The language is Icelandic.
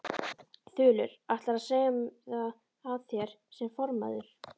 Þulur: Ætlarðu að segja af þér sem formaður?